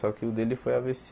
Só que o dele foi á vê cê.